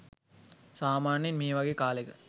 සාමාන්‍යයෙන් මේ වගේ කාලෙක